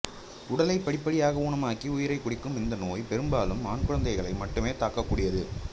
உடலை படிப்படியாக ஊனமாக்கி உயிரைக் குடிக்கும் இந்த நோய் பெரும்பாலும் ஆண் குழந்தைகளை மட்டுமே தாக்கக் கூடியது